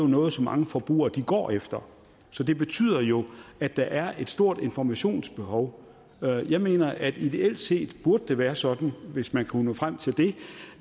noget som mange forbrugere går efter så det betyder jo at der er et stort informationsbehov jeg mener at det ideelt set burde være sådan hvis man kunne nå frem til det